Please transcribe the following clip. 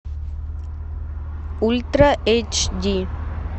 ультра эйч ди